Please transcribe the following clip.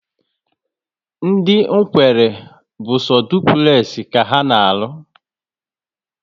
Ndị Nkwelle bu so dupulexi ka ana arụ